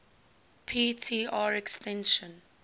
p tr extinction